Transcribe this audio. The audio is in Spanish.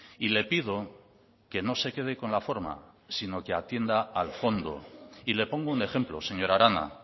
y le pido que no se quede con la forma sino que atienda al fondo y le pongo un ejemplo señora arana